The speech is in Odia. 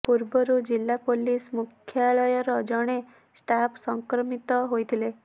ପୂର୍ବରୁ ଜିଲା ପୁଲିସ ମୁଖ୍ୟାଳୟର ଜଣେ ଷ୍ଟାଫ୍ ସଂକ୍ରମିତ ହୋଇଥିଲେ